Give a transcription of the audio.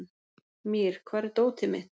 Mír, hvar er dótið mitt?